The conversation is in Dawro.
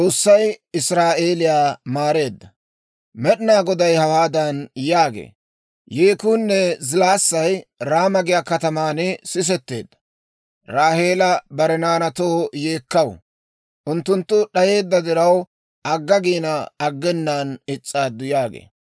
Med'inaa Goday hawaadan yaagee; «Yeekuunne zilaassay Raama giyaa kataman sisetteedda; Raaheela bare naanaatoo yeekkaw; unttunttu d'ayeedda diraw, agga giina, aggenaan is's'aaddu» yaagee.